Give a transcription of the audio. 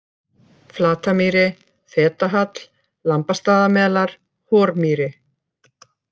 Flatamýri, Fetahall, Lambastaðamelar, Hormýri